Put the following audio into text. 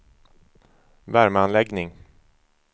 värmeanläggning